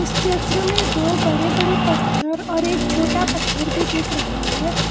चित्र में दो बड़े बड़े पत्थर और एक छोटा पत्थर भी दिख रहा है।